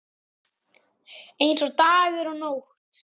Eins og dagur og nótt.